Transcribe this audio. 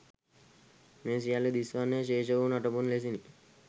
මේ සියල්ල දිස් වන්නේ ශේෂ වූ නටබුන් ලෙසිනි